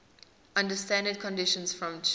under standard conditions from ch